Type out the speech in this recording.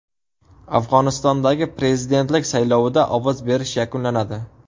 Afg‘onistondagi prezidentlik saylovida ovoz berish yakunlanadi.